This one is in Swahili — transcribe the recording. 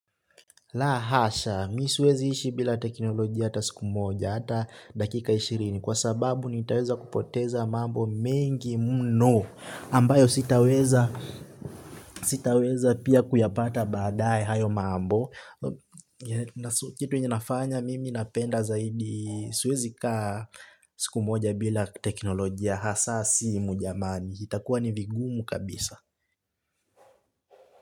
Lahasha, mi siwezi ishi bila teknolojia hata siku moja, hata dakika ishirini. Kwa sababu nitaweza kupoteza mambo mengi mno ambayo sitaweza pia kuyapata baadae hayo mambo. Kitu ninafanya mimi napenda zaidi siwezi kaa siku moja bila teknoloji. Hasaa sii mujamani, itakuwa ni vigumu kabisa.